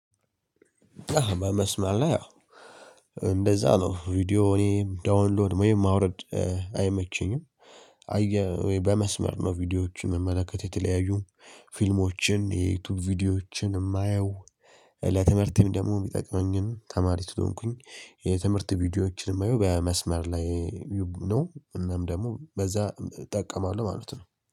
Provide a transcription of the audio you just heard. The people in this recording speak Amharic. በመስማማት ያው እንደዛ ነው ቪዲዮ እኔ ዳውንሎድ ወይም ማውረድ አይመቸኝም። በመስመር ነው ቪዲዮዎችን መመለከት የተለያዩ ፊልሞችን የዩቲዩብ ቪዲዮዎችን የማየው። ለትምህርት ደግሞ የሚጠቅመኝን ተማሪ ሰለሆንኩኝ የትምህርት ቪዲዮዎችን የማየው በመስመር ላይ ነው። እናም ደግሞ በዛ እጠቀማለሁ ማለት ነው